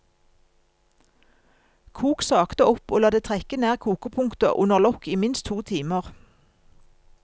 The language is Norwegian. Kok sakte opp og la det trekke nær kokepunktet under lokk i minst to timer.